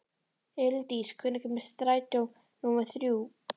Elíndís, hvenær kemur strætó númer þrjú?